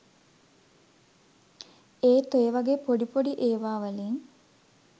ඒත් ඔය වගේ පොඩි පොඩි ඒවාවලින්